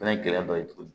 Fɛnɛ ye gɛlɛya dɔ ye tuguni